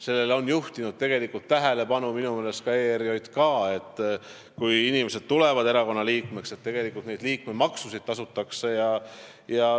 Sellele on tegelikult tähelepanu juhtinud ka ERJK, et kui inimesed astuvad erakonna liikmeks, siis nad ka liikmemaksu tasuksid.